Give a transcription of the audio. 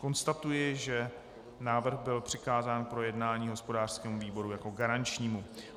Konstatuji, že návrh byl přikázán k projednání hospodářskému výboru jako garančnímu.